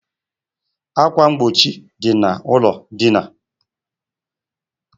Akwa mgbochi dị na ụlọ dina